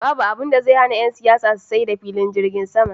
Babu abinda zai hana yan siyasa su sayar da filin jirgin sama.